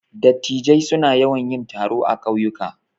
Dattijai suna yawan yin taro a ƙauyuka.